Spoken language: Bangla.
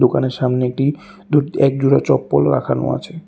দোকানের সামনেটি দু'এক জোড়া চপ্পল রাখানো আছে।